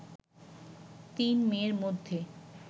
তিন মেয়ের মধ্যে